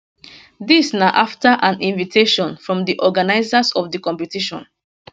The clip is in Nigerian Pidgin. dis na after an invitation from di organisers of di competition